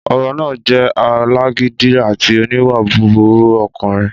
Ọba náà jẹ́ alágídí àti oníwà búburú ọkùnrin